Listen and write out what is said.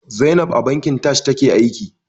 Zainab a bankin Taj take aiki.